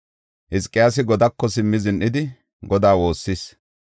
Hizqiyaasi godaako simmi zin7idi, Godaa woossis.